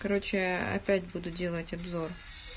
корочее опять буду делать обзор